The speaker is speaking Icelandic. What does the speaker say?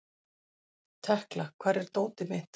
Tekla, hvar er dótið mitt?